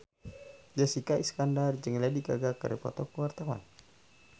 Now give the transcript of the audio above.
Jessica Iskandar jeung Lady Gaga keur dipoto ku wartawan